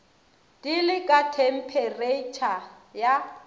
di le ka thempheretšha ya